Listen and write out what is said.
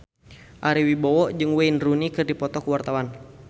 Ari Wibowo jeung Wayne Rooney keur dipoto ku wartawan